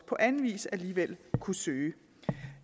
på anden vis alligevel kunne søge